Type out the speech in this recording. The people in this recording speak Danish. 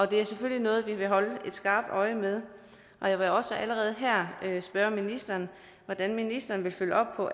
det er selvfølgelig noget vi vil holde skarpt øje med og jeg vil også allerede her spørge ministeren hvordan ministeren vil følge op på